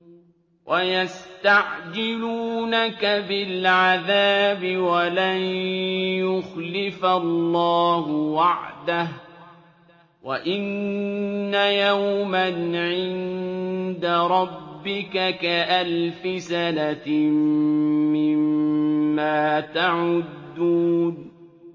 وَيَسْتَعْجِلُونَكَ بِالْعَذَابِ وَلَن يُخْلِفَ اللَّهُ وَعْدَهُ ۚ وَإِنَّ يَوْمًا عِندَ رَبِّكَ كَأَلْفِ سَنَةٍ مِّمَّا تَعُدُّونَ